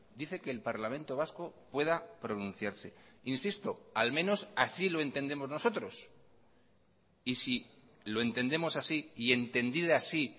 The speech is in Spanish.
dice que el parlamento vasco pueda pronunciarse insisto al menos así lo entendemos nosotros y si lo entendemos así y entendida así